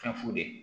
Fɛn fu de ye